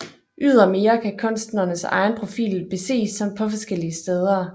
Ydermere kan kunstnerens egen profil beses på forskellige steder